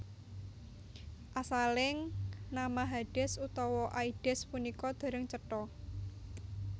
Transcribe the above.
Asaling nama Hades utawi Aides punika dereng cetha